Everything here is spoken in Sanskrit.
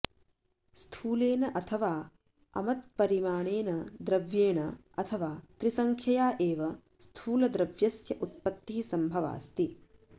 स्थूलेन अथवा अमत्परिमाणेन द्र्व्येण अथवा त्रिसंख्यया एव स्थूलद्रव्यस्य उत्पत्तिः सम्भवाऽस्ति